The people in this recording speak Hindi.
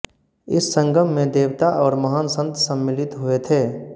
इस संगम में देवता और महान संत सम्मिलित हुए थे